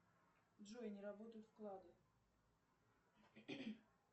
джой не работают вклады